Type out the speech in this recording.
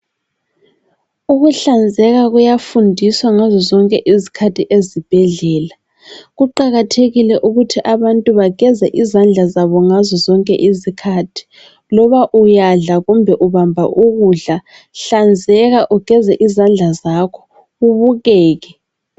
Ukuhlanzeka kuyafundiswa ngazo zonke izikhathi ezibhedlela. Kuqakathekile ukuthi abantu bageze izandla zabo ngazo zonke izikhathi loba uyadla kumbe ubamba ukudla hlanzeka ugeze izandla zakho ubukeke.